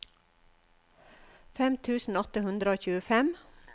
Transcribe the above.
fem tusen åtte hundre og tjuefem